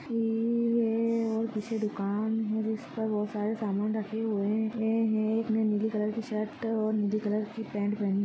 ये ए-- और किसी दुकान है जिसका पर बहोत सारा समान रखे हुए है एक ने नीली कलर की शर्ट और नीले कलर की पैंट पहनी